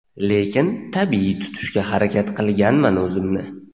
lekin tabiiy tutishga harakat qilganman o‘zimni.